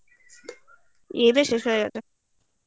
এ শেষ হয়ে গেছে